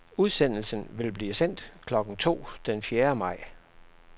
Udsendelsen vil blive sendt klokken to den fjerde maj.